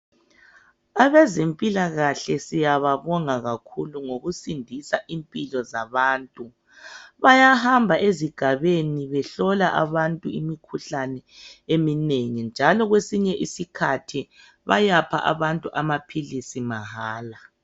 Abezempilakahle siyababonga kakhulu ngokusindisa impilo zabantu. Bayahamba ezigabeni behlola abantu imikhuhlane eminengi njalo kwesinye isikhathi bayapha abantu amaphilisi mahala.